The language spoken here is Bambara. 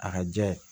A ka jɛ